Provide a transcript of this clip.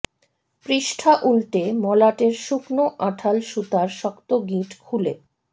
পৃষ্ঠা উল্টে মলাটের শুকনো আঁঠাল সুতার শক্ত গিঁট খুলে